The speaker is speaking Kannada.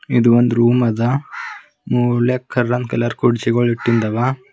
ಇದು ಒಂದ್ ರೂಮ್ ಅದ ಮೂಲ್ಯಾಗ್ ಕರಂದ್ ಕಲರ್ ಕುರ್ಚಿಗಳ್ ಇಟ್ಟಿಂದವ.